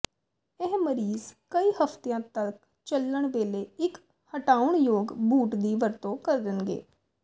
ਇਹ ਮਰੀਜ਼ ਕਈ ਹਫ਼ਤਿਆਂ ਤੱਕ ਚੱਲਣ ਵੇਲੇ ਇਕ ਹਟਾਉਣ ਯੋਗ ਬੂਟ ਦੀ ਵਰਤੋਂ ਕਰਨਗੇ